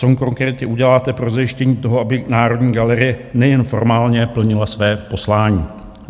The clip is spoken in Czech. Co konkrétně uděláte pro zajištění toho, aby Národní galerie nejen formálně plnila své poslání?